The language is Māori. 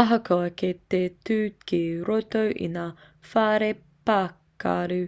ahakoa kei te tū ki roto i ngā whare pakaru